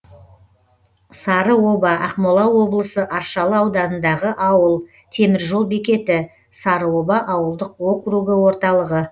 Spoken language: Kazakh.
сарыоба ақмола облысы аршалы ауданындағы ауыл темір жол бекеті сарыоба ауылдық округі орталығы